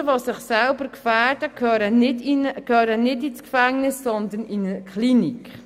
Menschen, die sich selbst gefährden, gehören nicht ins Gefängnis, sondern in eine Klinik.